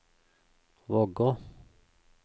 Vågå